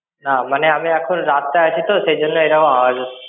না মানে আমি এখন রাস্তায় আছি তো সেই জন্য এইরকম আওয়াজ হচ্ছে.